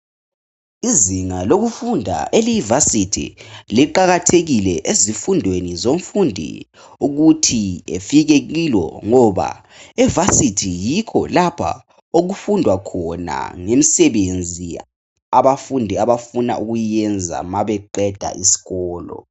Izinga lokufunda eliyiVasithi liqakathekile ezifundweni zomfundi ukuthi afike kilo ngoba eVasithi yikho lapha okufundwa khona ngemisebenzi abafundi abafuna ukuyenza mabeqeda isikolo.